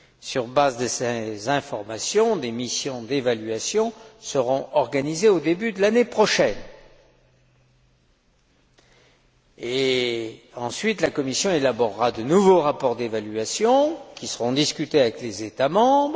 Sur la base de ces informations, des missions d'évaluation seront organisées au début de l'année prochaine, et ensuite, la Commission élaborera de nouveaux rapports d'évaluation qui seront discutés avec les États membres.